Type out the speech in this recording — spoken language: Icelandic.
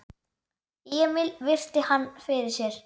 Emil virti hann fyrir sér.